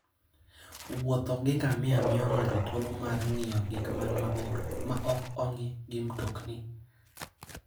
Wuotho gi ngamia miyo ng'ato thuolo mar ng'iyo gik man mabor maok ong'i gi mtokni.